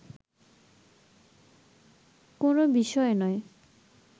কোনও বিষয় নয়